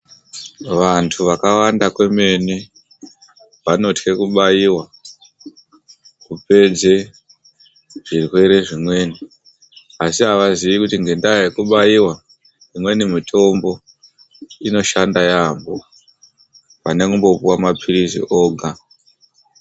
Vantu vakawanda vemene vanotwa kubaiwa kubeni kupedze zvirwere zvimweni zvirwere zvinorapika ngekubairwa imweni mutombo inoshanda yambo panekupuwa mapirizi ega